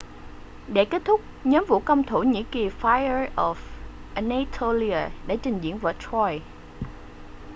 để kết thúc nhóm vũ công thổ nhĩ kỳ fire of anatolia đã trình diễn vở troy